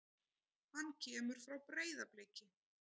Hann kemur frá Breiðabliki.